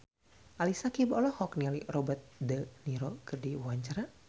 Ali Syakieb olohok ningali Robert de Niro keur diwawancara